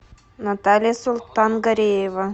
наталья султангареева